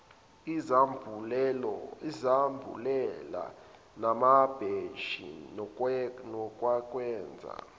izambulela namabhentshi nokwakwenza